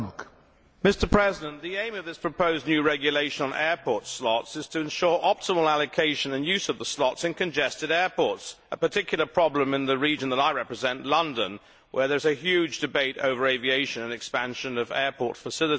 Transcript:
Mr President, the aim of this proposed new regulation on airport slots is to ensure optimal allocation and use of the slots in congested airports, a particular problem in the region that I represent, London, where there is a huge debate over aviation and expansion of airport facilities.